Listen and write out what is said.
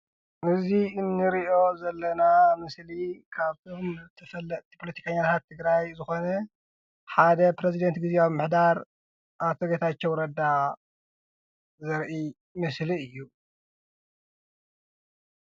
እዚ እንሪኦ ዘለና ምስሊ ካብ እቶም ተፈለጥቲ ፖለቲከኛታት ትግራይ ዝኮነ ሓደ ፕሬዝደንት ግዝግያዊ ምምሕዳር አቶ ጌታቸው ረዳ ዘርኢ ምስሊ እዩ፡፡